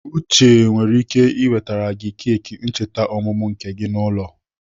Uche nwere ike ị wetere gị keki ncheta ọmụmụ nke gị n'ụlọ.